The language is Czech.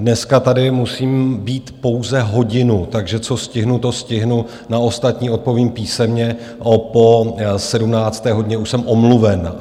Dneska tady musím být pouze hodinu, takže co stihnu, to stihnu, na ostatní odpovím písemně, po 17. hodině už jsem omluven.